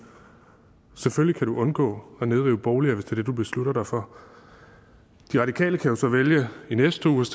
selvfølgelig kan du undgå at nedrive boliger hvis det du beslutter dig for de radikale kan jo så vælge i næste uge